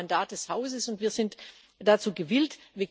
Wir haben ein Mandat des Hauses, und wir sind dazu gewillt.